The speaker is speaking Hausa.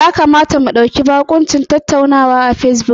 Ya kamata mu ɗauki bakuncin tattaunawar bidiyo ta Fesbuk gobe.